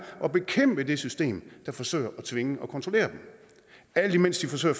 at bekæmpe det system der forsøger at tvinge og kontrollere dem alt imens de forsøger